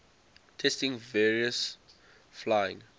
testing various flying